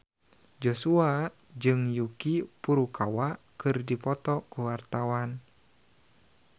Joshua jeung Yuki Furukawa keur dipoto ku wartawan